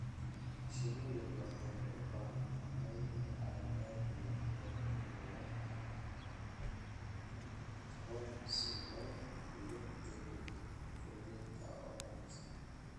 Shinnidu waxay u baahan tahay aagag leh heerkul la kantaroolo si loo hubiyo jawi koritaan oo wanaagsan.